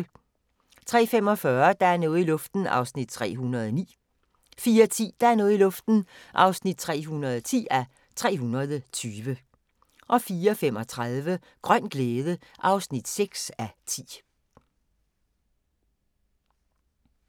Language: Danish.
03:45: Der er noget i luften (309:320) 04:10: Der er noget i luften (310:320) 04:35: Grøn glæde (6:10)